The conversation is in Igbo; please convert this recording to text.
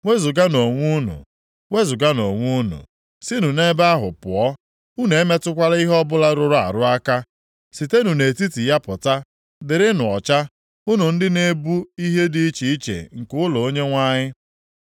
Wezuganụ onwe unu, wezuganụ onwe unu, sinụ nʼebe ahụ pụọ. Unu emetụkwala ihe ọbụla rụrụ arụ aka. Sitenụ nʼetiti ya pụta, dịrịnụ ọcha, unu ndị na-ebu ihe dị iche iche nke ụlọ Onyenwe anyị.